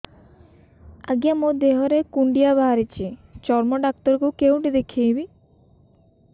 ଆଜ୍ଞା ମୋ ଦେହ ରେ କୁଣ୍ଡିଆ ବାହାରିଛି ଚର୍ମ ଡାକ୍ତର ଙ୍କୁ କେଉଁଠି ଦେଖେଇମି